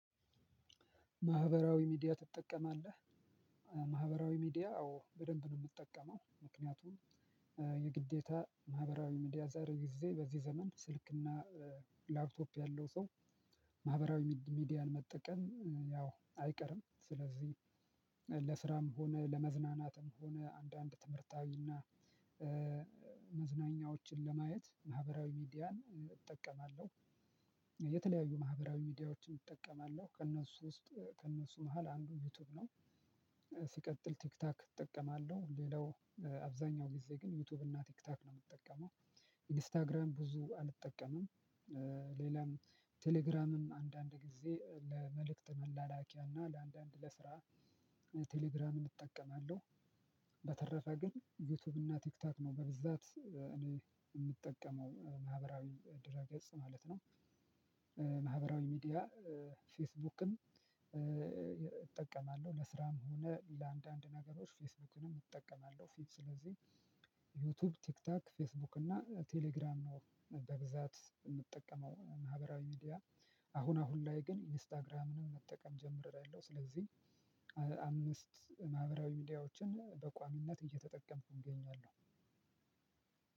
ማህበራዊ ሚዲያ ትጠቀማለህ? ማህበራዊ ሚዲያ አዎ በደንብ ነው የምትጠቀመው ምክንያቱም። የግዴታ ማህበራዊ ሚዲያ ዛሬ ጊዜ በዚህ ዘመን ስልክና ላፕቶፕ ያለው ሰው ማህበራዊ ሚዲያን መጠቀም ያው አይቀርም ስለዚህ ለስራም ሆነ ለመዝናናትም ሆነ አንዳንድ ትምህርታዊና መዝናኛዎችን ለማየት ማህበራዊ ሚዲያን እጠቀማለሁ። የተለያዩ ማህበራዊ ሚዲያዎችን እጠቀማለሁ ከእነሱ ውስጥ ከእነሱ መሃል አንዱ ዩቲዩብ ነው። ሲቀጥል ቲክታክ እጠቀማለሁ። ሌላው አብዛኛው ጊዜ ግን ዩቲዩብ እና ቲክታክ ነው የምትጠቀመው? ኢንስታግራም ብዙ አልጠቀምም። ሌላም ቴሌግራምም አንዳንድ ጊዜ ለመልእክት መላላኪያና ለአንዳንድ ለስራ ቴሌግራምን እጠቀማለሁ። በተረፈ ግን ዩቲዩብ እና ቲክቶክ ነው በብዛት እኔ የምጠቀመው ማህበራዊ ድር ገጽ ማለት ነው። ማህበራዊ ሚዲያ ፌስቡክም እጠቀማለሁ ለስራም ሆነ ለአንዳንድ ነገሮች ፌስቡክንም እጠቀማለሁ። ፊት ስለዚህ ዩቲዩብ ቲክቶክ ፌስቡክ እና ቴሌግራም ነው በብዛት የምጠቀመው ማህበራዊ ሚዲያ። አሁን አሁን ላይ ግን ኢንስታግራምንም መጠቀም ጀምሪያለው ስለዚህ አምስት ማህበራዊ ሚዲያዎችን በቋሚነት እየተጠቀምኩ እገኛለሁ።